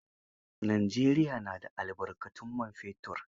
Najeriya na da albarkatun man fetur.